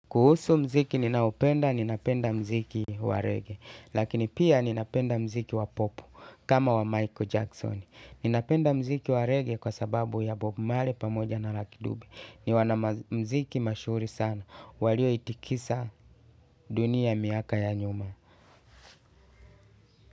Kuhusu mziki ninaopenda, ninapenda mziki wa reggae. Lakini pia ninapenda mziki wa pop kama wa Michael Jackson. Ninapenda mziki wa reggae kwa sababu ya bob marley pamoja na lucky dube. Ni wana muziki mashuuri sana. Walio itikisa dunia miaka ya nyuma.